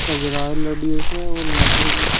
ये जो है और यहां पर--